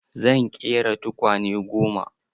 Zan ƙera tukwane goma.